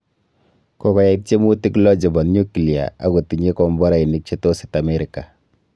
Kokoyai tiemutik lo chebo nyuklia ako tinye komborainik che tos it Amerika